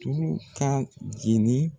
Tulu ka jeni